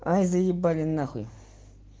а заебали нахуй